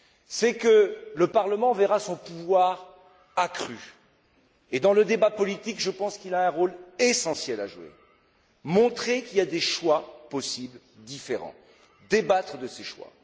C'est que le Parlement verra son pouvoir accru et, dans le débat politique, je pense qu'il a un rôle essentiel à jouer montrer qu'il y a différents choix possibles, débattre de ces choix.